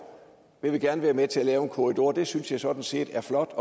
jeg vil gerne være med til at lave en korridor det synes jeg sådan set er flot